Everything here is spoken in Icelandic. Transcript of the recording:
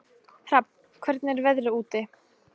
Hrafn, hvernig er veðrið úti?